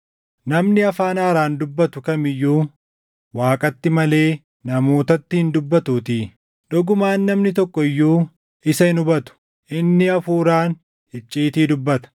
Namni afaan haaraan dubbatu kam iyyuu Waaqatti malee namootatti hin dubbatuutii. Dhugumaan namni tokko iyyuu isa hin hubatu; inni Hafuuraan icciitii dubbata.